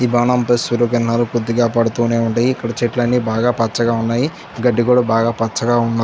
ఈ భవనం ఫై సూర్య కిరణాలు బాగా పడుతూ ఉంటాయి. చెట్లని కూడా పచ్చగా ఉన్నాయి. గడ్డి కూడా చాలా పచ్చగా ఉంది.